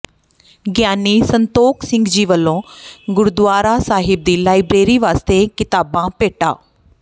ਗਿਅਨੀ ਸੰਤੋਖ ਸਿੰਘ ਜੀ ਵੱਲੋਂ ਗੁਰਦੁਆਰਾ ਸਾਹਿਬ ਦੀ ਲਾਇਬ੍ਰੇਰੀ ਵਾਸਤੇ ਕਿਤਾਬਾਂ ਭੇਟਾ